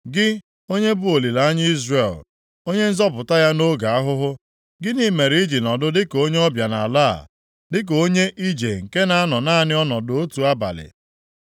Gị, onye bụ olileanya Izrel. Onye Nzọpụta ya nʼoge ahụhụ, gịnị mere i ji nọdụ dịka onye ọbịa nʼala a, dịka onye ije nke na-anọ naanị ọnọdụ otu abalị?